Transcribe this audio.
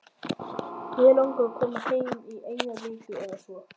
Mig langar að koma heim í eina viku eða svo.